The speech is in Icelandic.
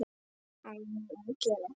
Á ég að gera það?